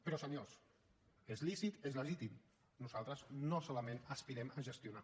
però senyors és lícit és legítim nosaltres no solament aspirem a gestionar